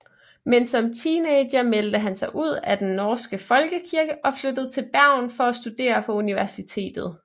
Men som teenager meldte han sig ud af den norske folkekirke og flyttede til Bergen for at studere på universitetet